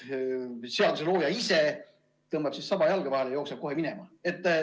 Seaduselooja ise tõmbab saba jalge vahele ja jookseb minema.